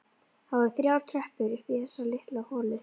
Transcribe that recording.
Það voru þrjár tröppur upp í þessa litlu holu.